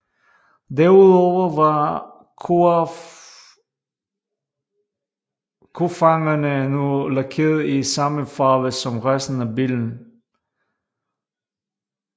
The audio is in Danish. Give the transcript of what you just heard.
Derudover var kofangerne nu lakeret i samme farve som resten af bilen